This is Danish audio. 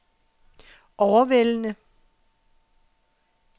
overvældende